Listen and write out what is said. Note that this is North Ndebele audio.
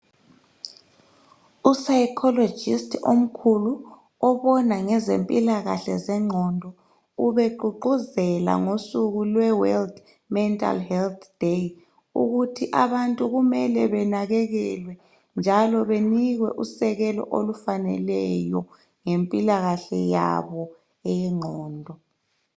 Upsychologist omkhulu obona ngezempilakahle yengqondo ubegqugquzela ngosuku lweWorld Mental Health Day ukuthi abantu kumele benakakelwe njalo benikwe usekelo olufaneleyo ngempilakahle yabo eyengqondo.